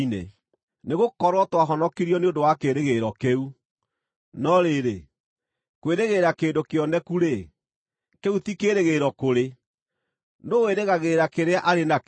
Nĩgũkorwo twahonokirio nĩ ũndũ wa kĩĩrĩgĩrĩro kĩu. No rĩrĩ, kwĩrĩgĩrĩra kĩndũ kĩoneku-rĩ, kĩu ti kĩĩrĩgĩrĩro kũrĩ. Nũũ wĩrĩgagĩrĩra kĩrĩa arĩ nakĩo?